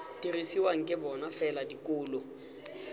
dirisiwang ke bona fela dikolo